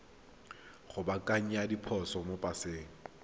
go baakanya diphoso mo paseng